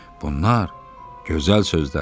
Bunlar gözəl sözlərdir.